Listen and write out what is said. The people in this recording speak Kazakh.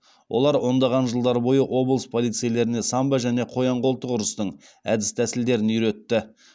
олар ондаған жылдар бойы облыс полицейлеріне самбо мен қоян қолтық ұрыстың әдіс тәсілдерін үйретті